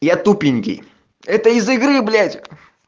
я тупенький это из игры блять